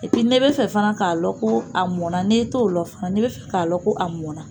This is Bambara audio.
Epi n'e bɛ fɛ fana k'a lɔ ko a mɔnna n'e t'o lɔ fana n'e bɛ fɛ k'a lɔ ko a mɔnna